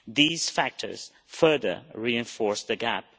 These factors further reinforce the gap.